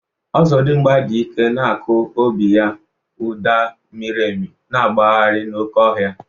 Ọzọdimgba dị ike na-akụ obi ya, ụda miri emi na-agbagharị n'oké ọhịa